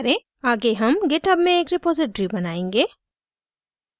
आगे हम github में एक रेपॉसिटरी बनायेंगे